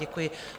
Děkuji.